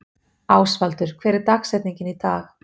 Ásvaldur, hver er dagsetningin í dag?